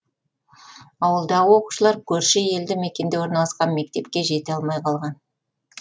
ауылдағы оқушылар көрші елді мекенде орналасқан мектепке жете алмай қалған